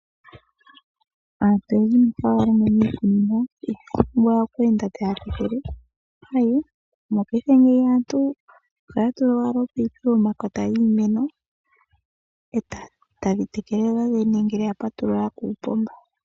Aantu oyendji mboka haya longo miikunino inaya pumbwa oku enda taya tekele, Aee! Mopaife ngeyi aantu ohaya tula owala ominino pokati komakota giimeno etadhi tekele dho dhene ngele ya patulula kuupomba.